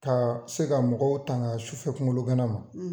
Ka se ka mɔgɔw tanga sufɛ kungolo gana ma